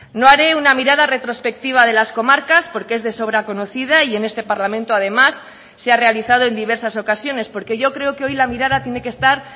no haré una mirada retrospectiva de las comarcas porque es de sobra conocida y en este parlamento además se ha realizado en diversas ocasiones porque yo creo que hoy la mirada tiene que estar